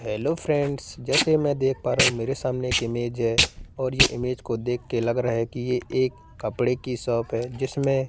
hello friends जैसे मैं देख पा रहा हूं मेरे सामने एक इमेज है और ये इमेज को देखकर लग रहा है कि ये एक कपड़े की शॉप है जिसमें--